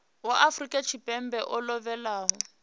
wa afrika tshipembe o lovhelaho